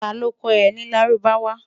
ta ló kò é ní lárúbáwá?